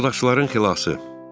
Fırıldaqçıların xilası.